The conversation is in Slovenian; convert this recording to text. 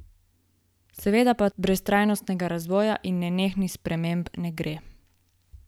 Seveda pa brez trajnostnega razvoja in nenehnih sprememb ne gre!